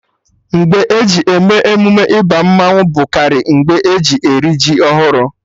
Mgbe e ji eme emume ịba mmanwụ bụ karị mgbe eji eri ji ọhụrụ